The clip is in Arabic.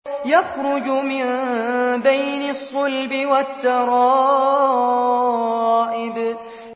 يَخْرُجُ مِن بَيْنِ الصُّلْبِ وَالتَّرَائِبِ